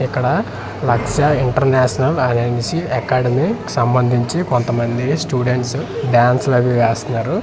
ఇక్కడ లక్ష ఇంటర్నేషనల్ అననేసి అకాడమీ సంబంధించి కొంతమంది స్టూడెంట్స్ డాన్స్ లవి వేస్తనారు.